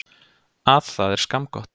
Að það er skammgott.